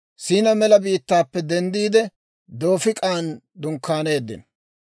Siinaa mela biittaappe denddiide, Doofik'an dunkkaaneeddino.